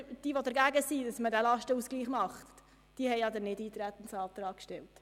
Alle, die gegen den Lastenantrag sind, haben den Antrag auf Nichteintreten gestellt.